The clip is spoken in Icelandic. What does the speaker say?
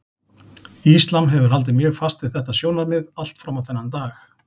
Íslam hefur haldið mjög fast við þetta sjónarmið allt fram á þennan dag.